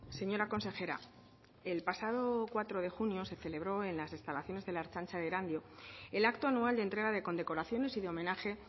señora consejera el pasado cuatro de junio se celebró en las instalaciones de la ertzaintza de erandio el acto anual de entrega de condecoraciones y de homenaje